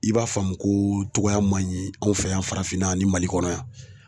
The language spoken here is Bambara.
I b'a faamu ko cogoyaw man ɲi anw fɛ yan farafinna ni Mali kɔnɔ yan